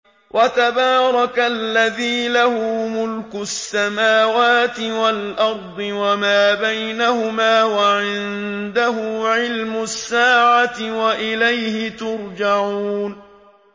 وَتَبَارَكَ الَّذِي لَهُ مُلْكُ السَّمَاوَاتِ وَالْأَرْضِ وَمَا بَيْنَهُمَا وَعِندَهُ عِلْمُ السَّاعَةِ وَإِلَيْهِ تُرْجَعُونَ